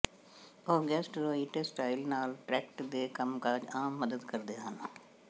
ਉਹ gastrointestinal tract ਦੇ ਕੰਮਕਾਜ ਆਮ ਮਦਦ ਕਰਦੇ ਹਨ